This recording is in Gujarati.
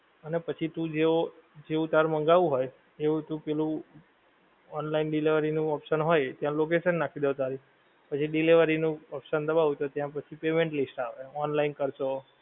અને પછી તું જેવો જેવું તારું મંગાવું હોએ એવું તું પહેલું online delivery નું option હોએ ત્યાં location નાખી દો તારી પછી ડિલિવેરી નું option દબાઓ તો ત્યાં પછી payment લિસ્ટ આવે online કરસો